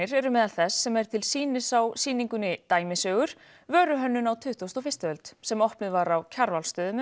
eru meðal þess sem er til sýnis á sýningunni dæmisögur vöruhönnun á tuttugustu og fyrstu öld sem opnuð var á Kjarvalsstöðum um